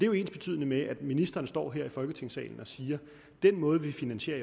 jo ensbetydende med at ministeren står her i folketingssalen og siger at den måde vi finansierer